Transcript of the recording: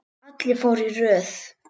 Allir fóru í röð.